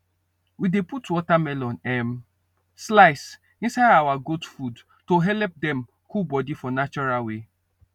we dey put watermelon um slice inside our goat food to helep dem cool body for natural way